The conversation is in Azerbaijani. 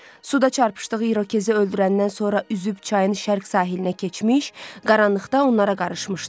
Suda çarpışdığı irokezi öldürəndən sonra üzüb çayın şərq sahilinə keçmiş, qaranlıqda onlara qarışmışdı.